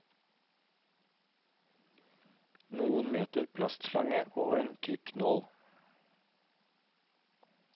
Noen meter plastslange og en tykk nål.